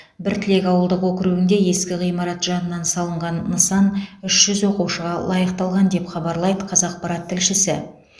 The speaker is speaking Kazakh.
біртілек ауылдық округінде ескі ғимарат жанынан салынған нысан үш жүз оқушыға лайықталған деп хабарлайды қазақпарат тілшісі